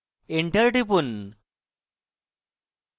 enter টিপুন